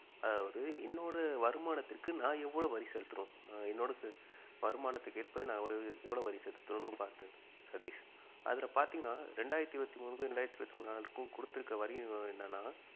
அதாவது என்னோட வருமானத்திற்கு நான் எவ்வளவு வரி செலுத்தணும் என்னோட வருமானத்திற்கு ஏற்ப நான் எவ்வளவு வரி செலுத்தணும் பார்த்து சதீஷ் அதுல பார்த்தீங்கனா ரெண்டாயிரத்தி இருவத்தி மூணுக்கும் ரெண்டாயிரத்தி இருவத்தி நாலுக்கும் குடுத்திருக்கிற வரி என்னனா